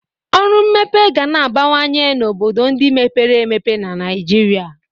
Ọrụ mmepe ga na-abawanye n'obodo ndị mepere emepe na Naịjirịa.